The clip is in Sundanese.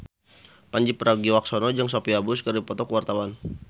Pandji Pragiwaksono jeung Sophia Bush keur dipoto ku wartawan